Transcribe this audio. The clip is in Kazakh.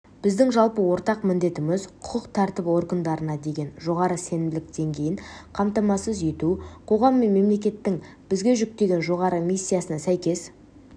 біздің жалпы ортақ міндетіміз құқық тәртібі органдарына деген жоғары сенімділік деңгейін қамтамасыз ету қоғам мен мемлекеттің бізге жүктеген жоғары миссиясына сәйкес